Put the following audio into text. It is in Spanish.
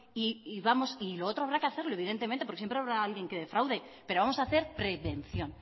y lo otro habrá que hacerlo evidentemente porque siempre habrá alguien que defraude pero vamos a hacer prevención